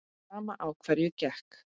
Sama á hverju gekk.